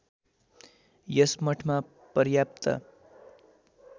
यस मठमा पर्याप्त